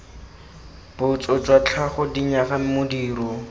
botso jwa tlhago dinyaga modiro